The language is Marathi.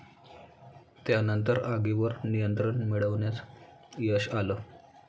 त्यानंतर आगीवर नियंत्रण मिळवण्यास यश आलं.